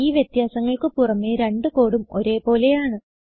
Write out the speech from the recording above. ഈ വ്യത്യാസങ്ങൾക്ക് പുറമേ രണ്ട് കോഡും ഒരേ പോലെയാണ്